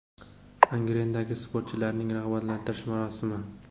Angrendagi sportchilarni rag‘batlantirish marosimi.